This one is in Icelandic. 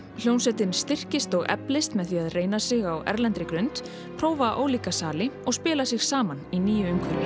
hljómsveitin styrkist og eflist með því að reyna sig á erlendri grund prófa ólíka sali og spila sig saman í nýju umhverfi